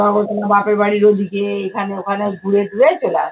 ধর্মতলা বাপের বাড়ির ওদিকে এখানে ওখানে ঘুরে টুরে চলে আসতাম।